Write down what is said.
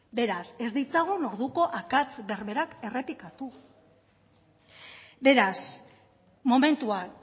beraz ez ditzagun orduko akats berdinak errepikatu beraz momentuan